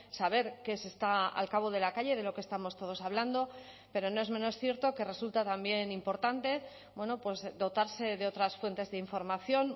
saber qué se está al cabo de la calle de lo que estamos todos hablando pero no es menos cierto que resulta también importante dotarse de otras fuentes de información